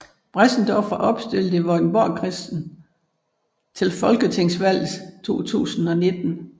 Bressendorff var opstillet i Vordingborgkredsen til folketingsvalget 2019